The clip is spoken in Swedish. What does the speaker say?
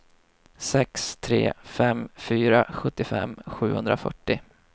sex tre fem fyra sjuttiofem sjuhundrafyrtio